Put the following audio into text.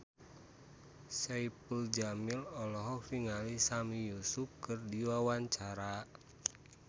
Saipul Jamil olohok ningali Sami Yusuf keur diwawancara